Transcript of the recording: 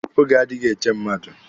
Oge adịghị eche mmadụ.